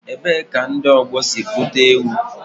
Ebee ka ndị ọgbọ si kpụta ewu?